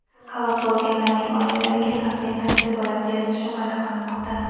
Halok bo‘lganlarning oilalariga kompensatsiya to‘lab berilishi va’da qilinmoqda.